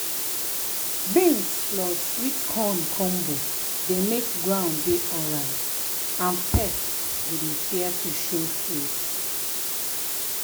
beans plus sweet corn combo dey make ground dey alright and pests go dey fear to show face.